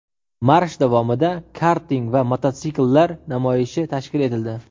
Marsh davomida karting va mototsikllar namoyishi tashkil etildi.